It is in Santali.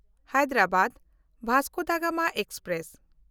Hyderabad Vasco da Gama express